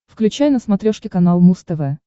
включай на смотрешке канал муз тв